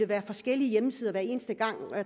det er forskellige hjemmesider hver eneste gang